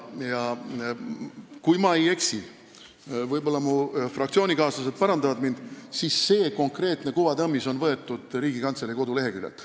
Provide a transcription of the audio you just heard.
Kui ma ei eksi – võib-olla mu fraktsioonikaaslased parandavad mind –, siis on see konkreetne kuvatõmmis võetud Riigikantselei koduleheküljelt.